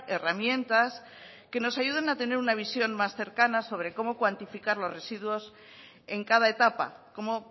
herramientas que nos ayuden a tener una visión más cercana sobre cómo cuantificar los residuos en cada etapa cómo